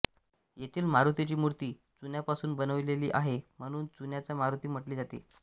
येथील मारुतीची मूर्ती चुन्यापासून बनविलेली आहे म्हणून चुन्याचा मारुती म्हटले जाते